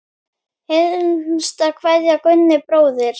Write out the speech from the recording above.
HINSTA KVEÐJA Gunni bróðir.